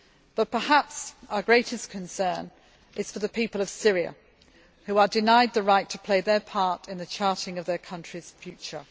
But perhaps our greatest concern is for the people of Syria, who are denied the right to play their part in the charting their country's future.